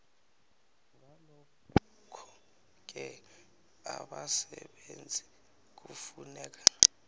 ngalokhoke abasebenzi kufuneka